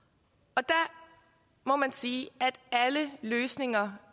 der må man sige at alle løsninger